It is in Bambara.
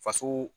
Faso